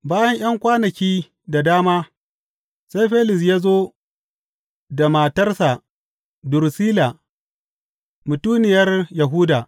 Bayan ’yan kwanaki da dama sai Felis ya zo da matarsa Durusilla, mutuniyar Yahuda.